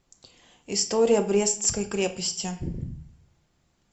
история брестской крепости